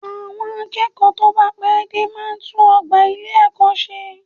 Àwọn akẹ́kọ̀ọ́ tó bá pẹ́ dé máa tún ọgbà ilé-ẹ̀kọ́ ṣe